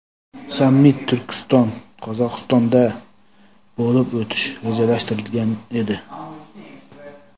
sammit Turkiston (Qozog‘iston)da bo‘lib o‘tishi rejalashtirilgan edi.